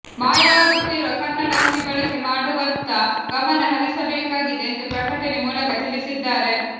ಮಾಯವಾಗುತ್ತಿರುವ ಕನ್ನಡ ಅಂಕಿ ಬಳಕೆ ಮಾಡುವತ್ತ ಗಮನ ಹರಿಸ ಬೇಕಾಗಿದೆ ಎಂದು ಪ್ರಕಟಣೆ ಮೂಲಕ ತಿಳಿಸಿದ್ದಾರೆ